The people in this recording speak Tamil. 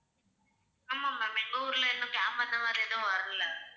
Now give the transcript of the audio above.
ஆமா ma'am எங்க ஊர்ல இன்னும் camp அந்த மாதிரி எதுவும் வரலை.